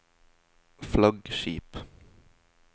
flaggskip